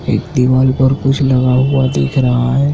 एक दीवाल पर कुछ लगा हुआ दिख रहा है।